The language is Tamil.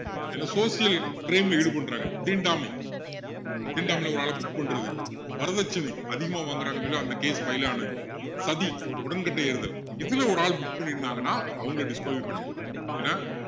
ஏதோ social crime ல ஈடுபடுறாங்க தீண்டாமை தீண்டாமையில ஒரு ஆள book பண்ணுறது வரதட்சணை அதிகமா வாங்குறாங்கன்னு சொல்லி அந்த case file ஆனது சதி உடன்கட்டை ஏறுதல் இதுல ஒரு ஆள் book பண்ணிருந்தாங்கன்னா அவங்கள disqualify பண்ணிடலாம் ஏன்னா